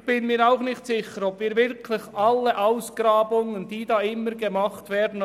Ich bin mir auch nicht sicher, ob wirklich alle Ausgrabungen, die da gemacht werden,